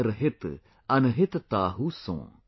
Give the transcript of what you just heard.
जो कर हित अनहित ताहू सों।।"